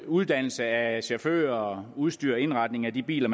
uddannelse af chauffører og udstyr og indretning af de biler